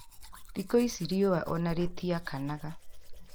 Thikũ ici riũa ona rĩtiakanaga